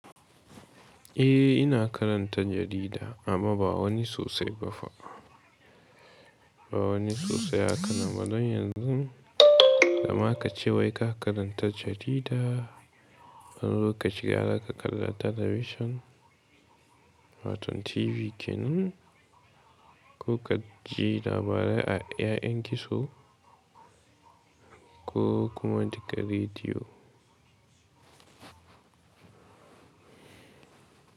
Eh, ina karanta jarida amma ba wani sosai ba fa. Ba wani sosai haka na. Don yanzu, da ma ka ce wai ka karanta jarida, an roka cika haka ka kalla television, watan TV kenan, ko ka ji labarai a ‘yan gizo ko kuma ka ji rediyo.